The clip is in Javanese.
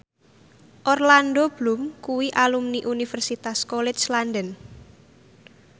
Orlando Bloom kuwi alumni Universitas College London